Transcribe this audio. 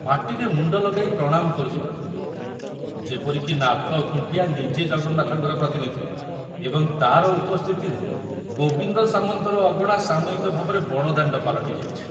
ମାଟିରେ ମୁଣ୍ଡ ଲଗାଇ ପ୍ରଣାମ କରୁଥିଲେ ଯେପରି କି ନାଥ ଖୁଣ୍ଟିଆ ନିଜେ ଜଗନ୍ନାଥଙ୍କ ପ୍ରତିନିଧି ଏବଂ ତାର ଉପସ୍ଥିତିରେ ଗୋବିନ୍ଦ ସାମନ୍ତର ଅଗଣା ସାମୟିକ ଭାବରେ ବଡ଼ଦାଣ୍ଡ ପାଲଟି ଯାଇଛି।